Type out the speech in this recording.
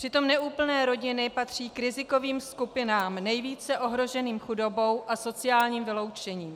Přitom neúplné rodiny patří k rizikovým skupinám nejvíce ohroženým chudobou a sociálním vyloučením.